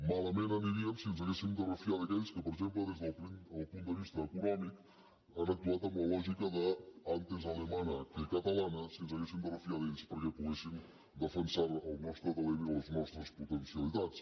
malament aniríem si ens haguéssim de refiar d’aquells que per exemple des del punt de vista econòmic han actuat amb la lògica d’ antes alemana que catalana si ens haguéssim de fiar d’ells perquè poguessin defensar el nostre talent i les nostres potencialitats